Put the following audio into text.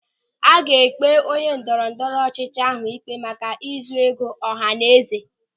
A ga-ekpe onye ndọrọ ndọrọ ọchịchị ahụ ikpe maka ịzụ ego ọhanaeze.